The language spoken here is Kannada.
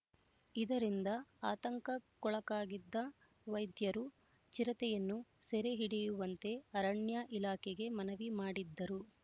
ಇದರಿಂದ ಆತಂಕಕ್ಕೊಳಗಾಗಿದ್ದ ವೈದ್ಯರು ಚಿರತೆಯನ್ನು ಸೆರೆ ಹಿಡಿಯುವಂತೆ ಅರಣ್ಯ ಇಲಾಖೆಗೆ ಮನವಿ ಮಾಡಿದ್ದರು